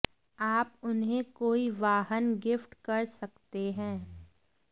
आप उन्हें कोई वाहन गिफ्ट कर सकते हैं